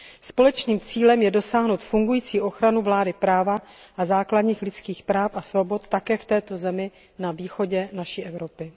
Společným cílem je dosáhnout fungující ochranu vlády práva a základních lidských práv a svobod také v této zemi na východě naší Evropy.